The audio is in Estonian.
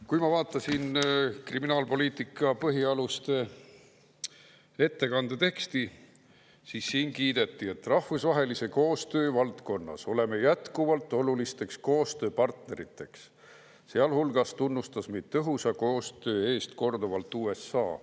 Kui ma vaatasin kriminaalpoliitika põhialuste ettekande teksti, siis siin kiideti: "Rahvusvahelise koostöö valdkonnas oleme jätkuvalt olulisteks koostööpartneriteks, sealhulgas tunnustas meid tõhusa koostöö eest korduvalt USA".